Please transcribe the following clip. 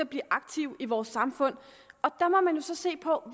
blive aktive i vores samfund der må man jo så se på